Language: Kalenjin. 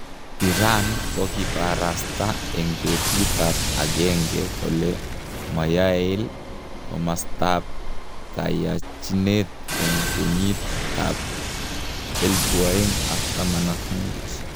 Iran kokiparasta en petut ap agenge kole moyael komasta ap kayachinet en kenyit ap 2015